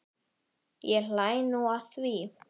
Ég hlæ nú að því.